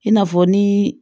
I n'a fɔ ni